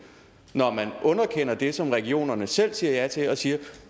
når man underkender det som regionerne selv siger ja til og siger at